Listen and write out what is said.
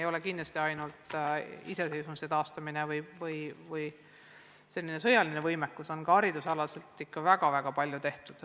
Ei ole kindlasti ainult iseseisvuse taastamine või sõjaline võimekus, ka hariduses on palju ära tehtud.